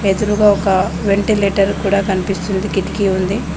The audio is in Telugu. ఎదురుగా ఒక వెంటిలేటర్ కూడా కనిపిస్తుంది కిటికీ ఉంది.